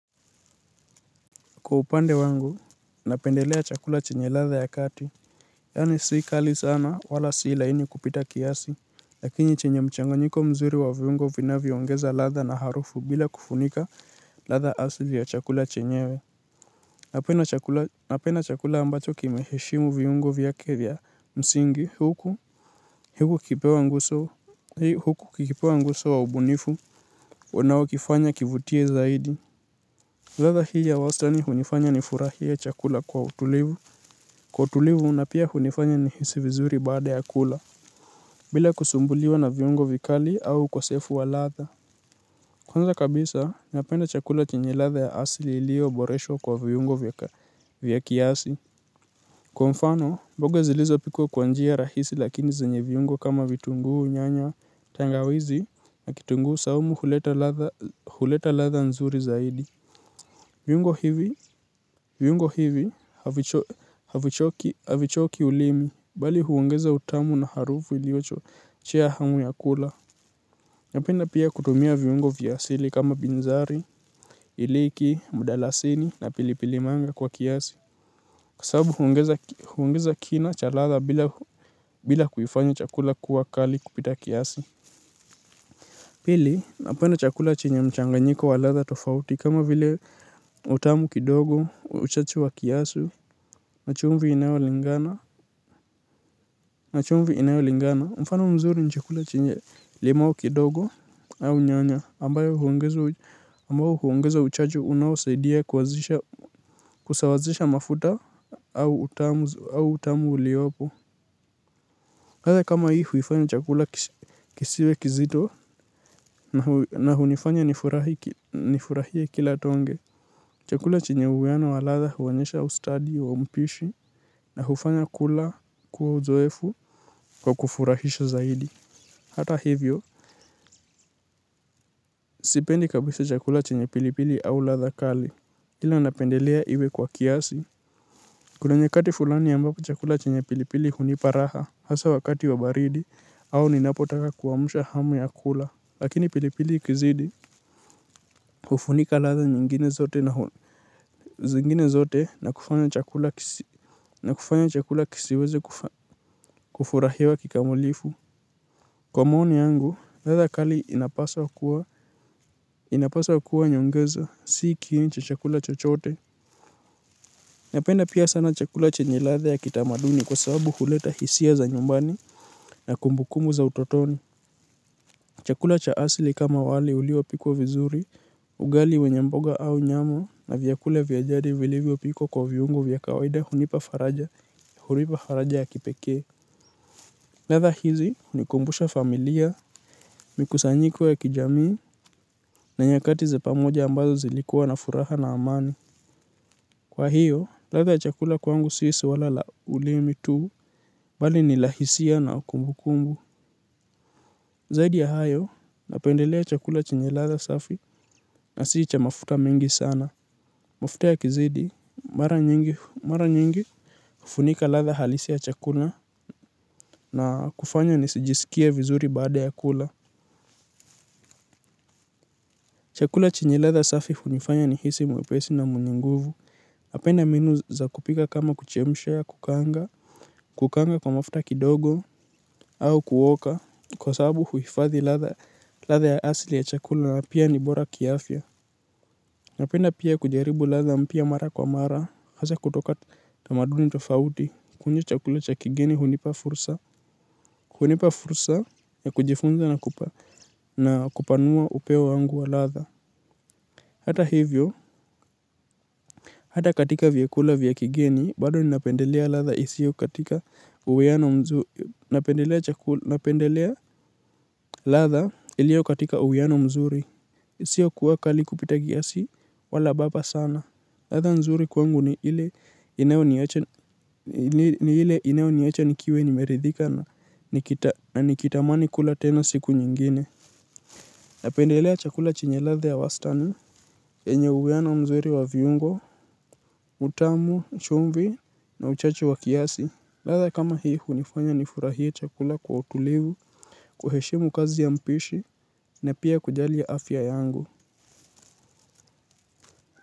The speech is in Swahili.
Kwa upande wangu, napendelea chakula chenye latha ya kati. Yani sii kali sana, wala sii laini kupita kiasi, lakini chenye mchanganyiko mzuri wa viungo vinavyoongeza latha na harufu bila kufunika latha asili ya chakula chenyewe. Napenda chakula ambacho kimeheshimu viungo vyake via msingi, huku huku kipewa nguso wa ubunifu, wanawakifanya kivutie zaidi. Ladha hii ya wastani hunifanya ni furahie chakula kwa utulivu. Kwa utulivu unapia hunifanya nihisi vizuri baada ya kula. Bila kusumbuliwa na viungo vikali au ukosefu wa ladha kwanza kabisa, napenda chakula chenye ladha ya asili ilio oboresho kwa viungo vya kiasi. Kwa mfano, mboga zilizopikwa kwa njia rahisi lakini zenye viungo kama vitunguu nyanya tangawizi na kitunguu saumu huleta ladha huleta ladha nzuri zaidi. Viungo hivi, viungo hivi, havichoki ulimi, bali huongeza utamu na harufu iliocho chea hamu ya kula. Napenda pia kutumia viungo viyasili kama binzari, iliki, mudalasini na pilipilimanga kwa kiasi. Sababu huongeza kina cha ladha bila bila kuifanya chakula kuwa kali kupita kiasi. Pili, napenda chakula chenye mchanganyiko wa ladha tofauti kama vile utamu kidogo, uchachu wa kiasu, na chumvi inayo na chumvi inayolingana, mfano mzuri nchakula chenye limao kidogo au nyanya, ambayo huongezo uchachu unawosaidia kusawazisha mafuta au utamu au utamu uliopo ladha kama hii huifanya chakula kisiwe kizito na hunifanya nifurahie kila tonge. Chakula chenye uwiano wa latha huonyesha ustadi wa mpishi na hufanya kula kuwa uzoefu kwa kufurahisha zaidi. Hata hivyo, sipendi kabisa chakula chenye pilipili au latha kali. Kila napendelea iwe kwa kiasi. Kuna nyakati fulani ambapo chakula chenye pilipili hunipa raha hasa wakati wa baridi au ninapotaka kuamsha hamu ya kula. Lakini pilipili ikizidi hufunika ladha nyingine zote na zingine zote na kufanya chakula kisiweze kufurahewa kikamilifu. Kwa maoni yangu, latha kali inapaswa kuwa inapawa kuwa nyongeza si kiini cha chakula chochote. Napenda pia sana chakula chenye latha ya kitamaduni kwa sababu kuleta hisia za nyumbani na kumbukumbu za utotoni. Chakula cha asili kama wali uliopikwa vizuri ugali wenye mboga au nyama na vyakula vya asili vilivyopikwa kwa viungo nza kawaida hunipa faraja ya kipekee. Ladha hizi hunikumbusha familia, mikusanyiko ya kijamii na nyakati za pamoja ambazo zilikuwa na furaha na amani. Kwa hiyo, latha chakula kwangu si swala la ulimi tuu, bali ni la hisia na kumbukumbu. Zaidi ya hayo, napendelea chakula chenye ladha safi na s icha mafuta mingi sana. Mafuta ya kizidi, mara nyingi, mara nyingi. Funika ladha halisi ya chakula na kufanya nisijiskie vizuri baada ya kula. Chakula chenye latha safi hunifanya nihisi mwepesi na munye nguvu. Napenda mbinu za kupika kama kuchemsha kukanga, kukaanga kwa mafuta kidogo, au kuoka. Kwa sababu huhifadhi ladha ya asili ya chakula na pia ni bora kiafya. Napenda pia kujaribu latha mpya mara kwa mara, hasa kutoka tamaduni tofauti, kunye chakula cha kigeni hunipa fursa, hunipa fursa ya kujifunza na kupanua upeo wangu wa latha. Hata hivyo, hata katika vyakula vya kigeni, bado ninapendelea latha isi yo katika uweano mzuri, napendelea ladha iliyo katika uwiano mzuri. Sio kuwa kali kupita kiasi wala baba sana. Ladha nzuri kwangu ni ile inayo ni ile inayo niacha nikiwa nimeridhika na nikitamani kula tena siku nyingine. Napendelea chakula chenye latha ya wastani, enye uwiana mzuri wa viungo, utamu, chumvi na uchachu wa kiasi. Latha kama hii hunifanya nifurahia chakula kwa utulivu, kuheshemu kazi ya mpishi pia kujali afya yangu.